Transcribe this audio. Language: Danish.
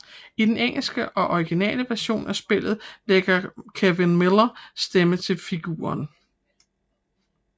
I den engelske og originale version af spillet lægger Kevin Miller stemme til figuren